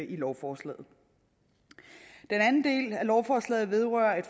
i lovforslaget den anden del af lovforslaget vedrører